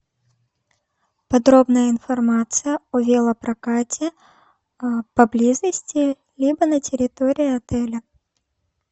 подробная информация о велопрокате поблизости либо на территории отеля